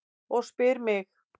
Og spyr mig: